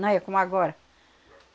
Não é como agora.